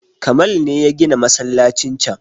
Kamal ne ya gina masallacin can